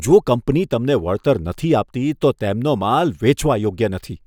જો કંપની તમને વળતર નથી આપતી, તો તેમનો માલ વેચવા યોગ્ય નથી.